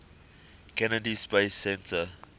kennedy space center